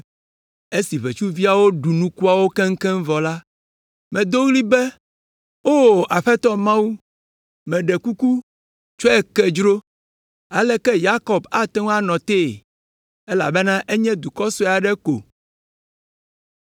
Esi ʋetsuviawo ɖu nukuawo keŋkeŋ vɔ la, medo ɣli be, “O Aƒetɔ Mawu, meɖe kuku, tsɔe ke dzro. Aleke Yakob ate ŋu anɔ te, elabena enye dukɔ sue aɖe ko?”